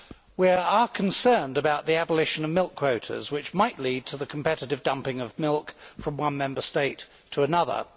We are concerned about the abolition of milk quotas, which might lead to the competitive dumping of milk from one Member State to another.